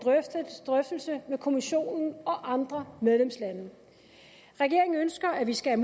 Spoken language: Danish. drøftelse med kommissionen og andre medlemslande regeringen ønsker at vi skal